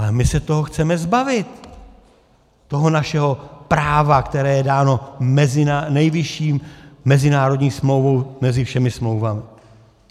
Ale my se toho chceme zbavit, toho našeho práva, které je dáno nejvyšší mezinárodní smlouvou mezi všemi smlouvami.